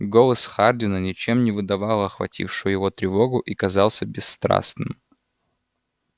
голос хардина ничем не выдавал охватившую его тревогу и казался бесстрастным